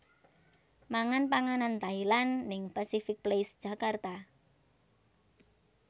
Mangan panganan Thailand ning Pasific Place Jakarta